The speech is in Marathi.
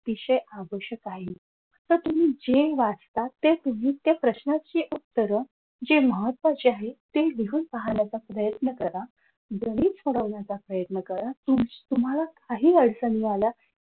विषय आवश्यक आहे तर तुम्ही जे वाचता ते तुम्ही त्या प्रश्नांची उत्तर जे महत्वाचे आहेत ते लिहून काढण्याचा प्रयत्न करा घरीच सोडवण्याचा प्रयत्न करा तुम्हाला तुमच्या काही अडचणी आल्या